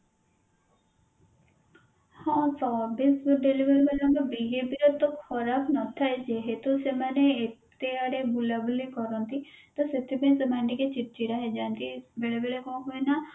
ହଁ service delivery ବାଲା ଙ୍କ behavior ତ ଖରାପ ନ ଥାଏ ଯେହେତୁ ସେମାନେ ଏତେ ଆଡେ ବୁଲାବୁଲି କରନ୍ତି ତ ସେଥି ପାଇଁ ସେମାନେ ଟିକେ ଛିଡଚିଡା ହେଇଯାନ୍ତି ବେଳେ ବେଳେ କଣ ହୁଏ ନା